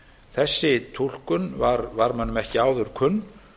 þessi túlkun var mönnum ekki áður kunn